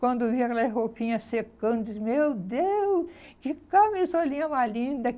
Quando eu via aquelas roupinhas secando, dizia, meu Deus, que camisolinha mais linda.